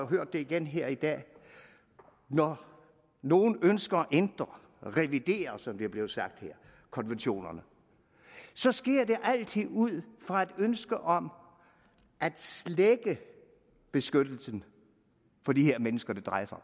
hører det igen her i dag at når nogle ønsker at ændre revidere som det er blevet sagt her konventionerne så sker det altid ud fra et ønske om at slække beskyttelsen for de mennesker det drejer sig